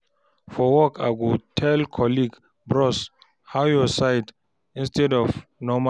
For work, I go tell colleague, "Bros, how your side?" instead of normal greeting.